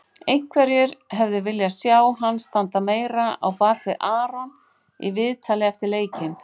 Einhverjir hefðu viljað sjá hann standa meira á bakvið Aron í viðtali eftir leikinn.